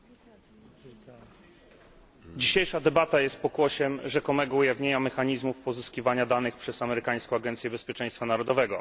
Panie Przewodniczący! Dzisiejsza debata jest pokłosiem rzekomego ujawnienia mechanizmów pozyskiwania danych przez amerykańską Agencję Bezpieczeństwa Narodowego.